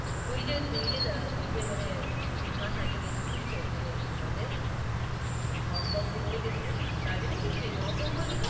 তুই যে~তুই যেআহ ওই যে মানে দু~তিন মাস আগে গেছিলিস তো ওখানে কি বলে, HongKong ঘুরতে গেছিলিস, দার্জিলিং গেছিলিস? HongKong বললি না?